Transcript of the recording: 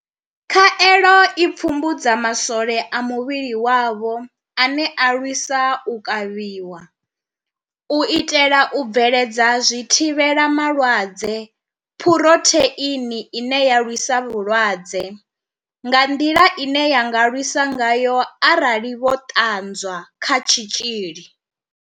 Khaelo i pfumbudza masole a muvhili wavho ane a lwisa u kavhiwa, u itela u bveledza zwithivhela malwadze Phurotheini ine ya lwisa vhulwadze, nga nḓila ine ya nga lwisa ngayo arali vho ṱanwa kha tshitzhili.